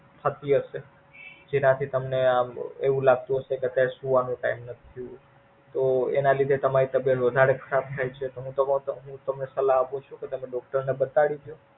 સાચી વાત છે. જેનાથી તમને એવું લાગતું હશે કે સુવાનો Time નથી. તો એના લીધે તમારી Health વધારે ખરાબ થાય છે તો હું તો તમને, તમને સલાહ આપું છું. તો તમે Doctor ને બતાડી દયો.